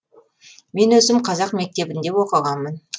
мен өзім қазақ мектебінде оқығанмын